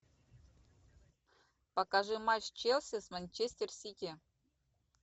покажи матч челси с манчестер сити